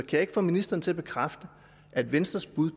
jeg ikke få ministeren til at bekræfte at venstres bud